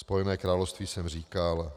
Spojené království jsem říkal.